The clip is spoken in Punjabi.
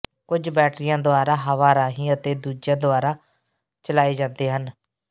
ਕੁਝ ਬੈਟਰੀਆਂ ਦੁਆਰਾ ਹਵਾ ਰਾਹੀਂ ਅਤੇ ਦੂਜਿਆਂ ਦੁਆਰਾ ਚਲਾਏ ਜਾਂਦੇ ਹਨ